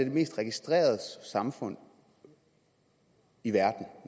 mest registrerede samfund i verden